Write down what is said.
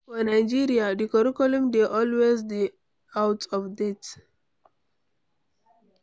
For Nigeria, di curriculum dey always dey out of date